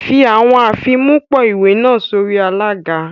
Fi awọn afimupo-iwe naa sori alaga